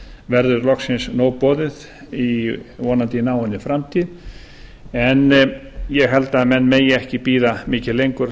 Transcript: verður loksins nóg boðið í vonandi náinni framtíð en ég held að menn megi ekki bíða mikið lengur